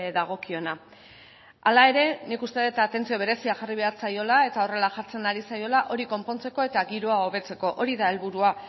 dagokiona hala ere nik uste dut atentzio berezia jarri behar zaiola eta horrela jartzen ari zaiola hori konpontzeko eta giroa hobetzeko hori da helburua